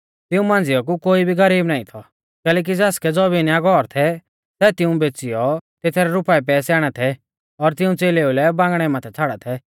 तिऊं मांझ़िया कु कोई भी गरीब नाईं थौ कैलैकि ज़ासकै ज़बीन या घौर थै सै तिऊं बेच़ीयौ तेथरै रुपाऐ पैसै आणा थै और तिऊं च़ेलेऊ रै बांगणै माथै छ़ाड़ा थै